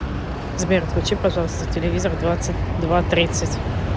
сбер отключи пожалуйста телевизор в двадцать два тридцать